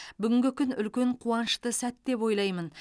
бүгінгі күн үлкен қуанышты сәт деп ойлаймын